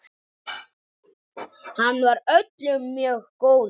Hann var öllum mjög góður.